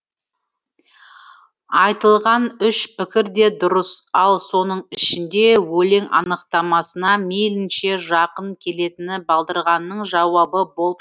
айтылған үш пікір де дұрыс ал соның ішінде өлең анықтамасына мейлінше жақын келетіні балдырғанның жауабы болып шығады